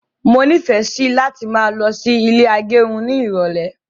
Mọ ni ìfẹ sí láti máa lọ sí ilé agẹrun ní irọlẹ